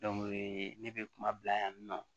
ne bɛ kuma bila yan nɔ